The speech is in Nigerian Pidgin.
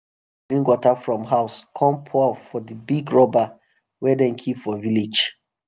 everybody bring water from house come pour for um the big rubber wey dem keep for village.